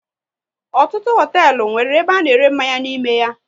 Ọtụtụ hoteelu nwéré ebe a na ere mmanya n'ime ya